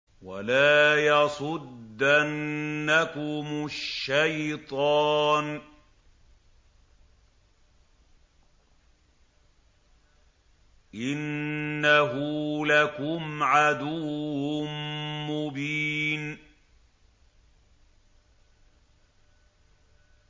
وَلَا يَصُدَّنَّكُمُ الشَّيْطَانُ ۖ إِنَّهُ لَكُمْ عَدُوٌّ مُّبِينٌ